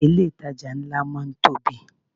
Ilé ìtajà ńlá máa ń tóbi.